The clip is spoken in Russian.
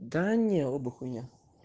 да не оба хуйня